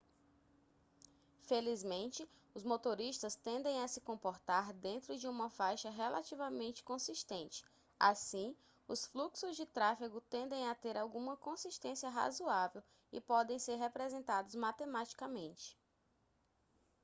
felizmente os motoristas tendem a se comportar dentro de uma faixa relativamente consistente assim os fluxos de tráfego tendem a ter alguma consistência razoável e podem ser representados matematicamente